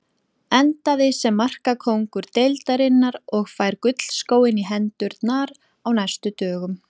Endaði sem markakóngur deildarinnar og fær gullskóinn í hendurnar á næstu dögum.